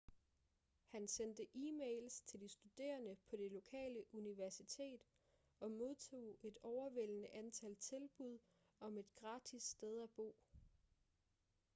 han sendte e-mails til de studerende på det lokale universitet og modtog et overvældende antal tilbud om et gratis sted at bo